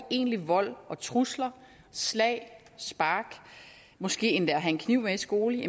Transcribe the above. i egentlig vold og trusler slag spark måske endda at have en kniv med i skole